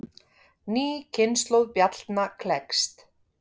Ný kynslóð bjallna klekst.